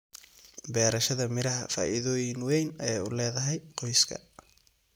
Beerashada miraha faa'iidooyin weyn ayay u leedahay qoyska.